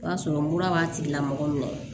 O y'a sɔrɔ mura b'a tigilamɔgɔ minɛ